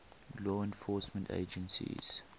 law enforcement agencies